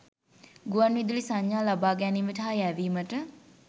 ගුවන් විදුලි සංඥා ලබ‍ා ගැනීමට හා යැවීමට